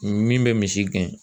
Min bɛ misi gɛn